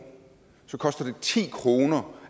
så koster det ti kroner